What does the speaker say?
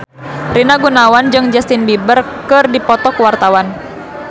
Rina Gunawan jeung Justin Beiber keur dipoto ku wartawan